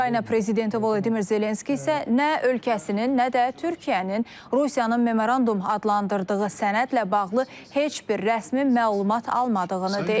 Ukrayna prezidenti Volodimir Zelenski isə nə ölkəsinin, nə də Türkiyənin Rusiyanın memorandum adlandırdığı sənədlə bağlı heç bir rəsmi məlumat almadığını deyib.